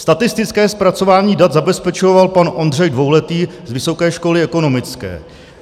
Statistické zpracování dat zabezpečoval pan Ondřej Dvouletý z Vysoké školy ekonomické.